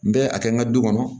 N bɛ a kɛ n ka du kɔnɔ